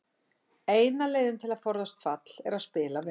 Eina leiðin til að forðast fall er að spila vel.